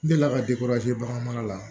N delila ka bagan mara la